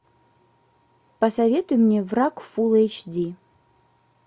посоветуй мне враг фул эйч ди